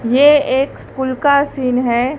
ये एक स्कूल का सीन है।